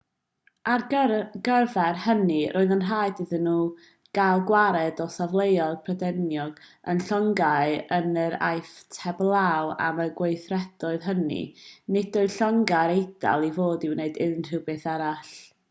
ar gyfer hynny roedd yn rhaid iddyn nhw gael gwared ar safleoedd prydeinig a llongau yn yr aifft heblaw am y gweithredoedd hynny nid oedd llongau'r eidal i fod i wneud unrhyw beth arall